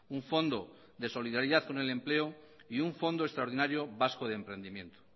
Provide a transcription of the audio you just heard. un fondo de solidaridad con el empleo y un fondo extraordinario vasco de emprendimiento